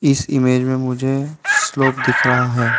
इस इमेज में मुझे स्लोप दिख रहा है।